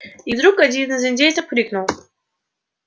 и вдруг один из индейцев крикнул